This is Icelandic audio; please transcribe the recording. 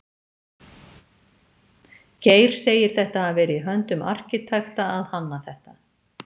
Geir segir þetta hafa verið í höndum arkitekta að hanna þetta.